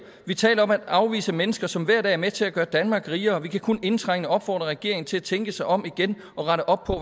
vi taler om at afvise mennesker som hver dag er med til at gøre danmark rigere vi kan kun indtrængende opfordre regeringen til at tænke sig om igen og rette op på